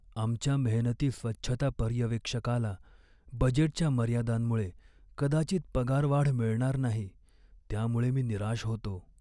आमच्या मेहनती स्वच्छता पर्यवेक्षकाला बजेटच्या मर्यादांमुळे कदाचित पगारवाढ मिळणार नाही, त्यामुळे मी निराश होतो.